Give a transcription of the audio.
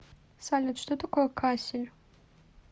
салют что такое кассель